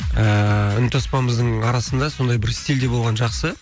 ііі үнтаспамыздың арасында сондай бір стильде болған жақсы